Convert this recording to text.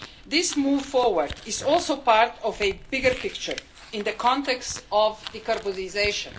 This move forward is also part of a bigger picture in the context of decarbonisation.